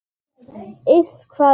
Iss, hvað er það?